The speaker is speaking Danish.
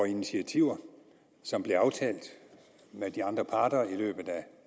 initiativer som blev aftalt med de andre parter i løbet af